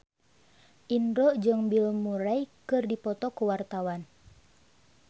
Indro jeung Bill Murray keur dipoto ku wartawan